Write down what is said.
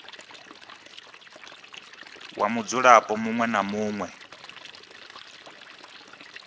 wa mudzulapo muṅwe na muṅwe